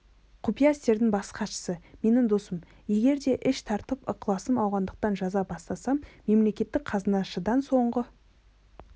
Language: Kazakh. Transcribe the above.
құпия істердің бас хатшысы менің досым егер де іш тартып ықыласым ауғандықтан жаза баспасам мемлекеттік қазынашыдан соңғы